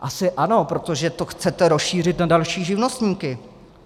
Asi ano, protože to chcete rozšířit na další živnostníky!